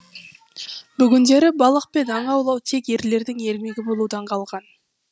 бүгіндері балық пен аң аулау тек ерлердің ермегі болудан қалған